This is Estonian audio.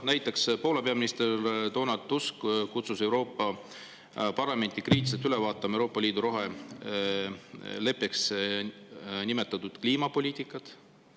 Näiteks Poola peaminister Donald Tusk kutsus Euroopa Parlamenti kriitiliselt üle vaatama Euroopa Liidu roheleppeks nimetatavat kliimapoliitikat.